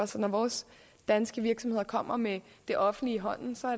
så når vores danske virksomheder kommer med det offentlige i hånden